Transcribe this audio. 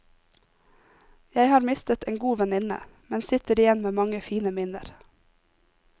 Jeg har mistet en god venninne, men sitter igjen med mange fine minner.